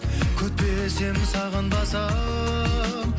күтпесем сағынбасам